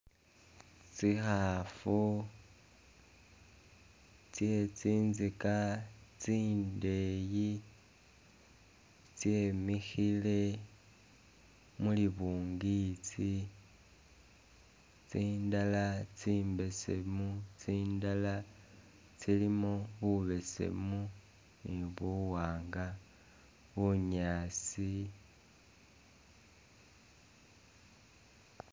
Tsikhaafu tse tsintsika tsindeeyi tsemikhile mulibungitsi, tsindala tsi'mbesemu, tsindala tsilimo bubesemu ne buwanga, bunyaasi